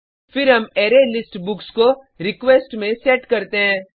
फिर हम अरेलिस्ट बुक्स को रिक्वेस्ट में सेट करते हैं